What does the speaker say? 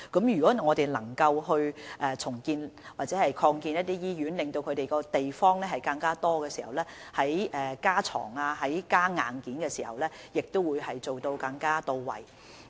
如果我們能夠重建或擴建一些醫院，增加醫院的地方，在加床或增加硬件時，便可更加到位。